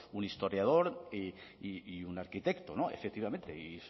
un historiador y un arquitecto efectivamente